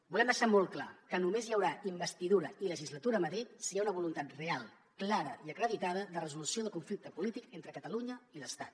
volem deixar molt clar que només hi haurà investidura i legislatura a madrid si hi ha una voluntat real clara i acreditada de resolució del conflicte polític entre catalunya i l’estat